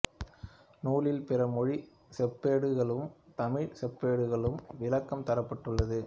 நூலில் பிற மொழி செப்பேடுகளுக்கும் தமிழ் செப்பேடுகளுக்கும் விளக்கம் தரப்பட்டுள்ளது